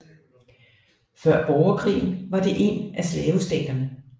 Før Borgerkrigen var det en af slavestaterne